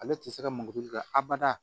Ale tɛ se ka mankutu nka abada